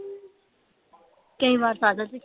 ਕਈ ਵਾਰ ਪੈਦਲ ਵੀ